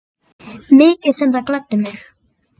Mikið sem það gladdi mig.